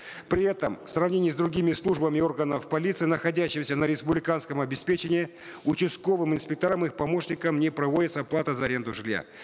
при этом в сравнении с другими службами органов полиции находящимся на республиканском обеспечении участковым инспекторам и их помощникам не проводится оплата за аренду жилья